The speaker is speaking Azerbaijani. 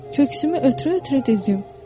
Köksümü ötürə-ötürə dedim.